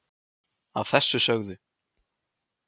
að þessu sögðu